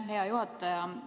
Aitäh, hea juhataja!